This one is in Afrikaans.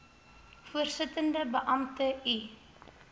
voorsittende beampte u